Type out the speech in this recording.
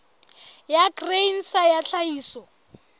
ya grain sa ya tlhahiso